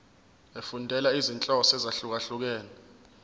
efundela izinhloso ezahlukehlukene